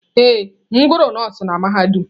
Ee, m gụrụ nọọsụ na mahadum.